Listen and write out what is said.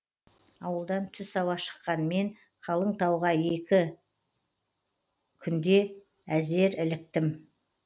ауылдан түс ауа шыққан мен қалың тауға күн екіндіге еңкейе әзер іліктім